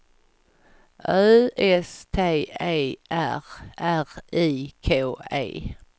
Ö S T E R R I K E